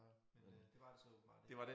Men øh det var det så åbenbart ikke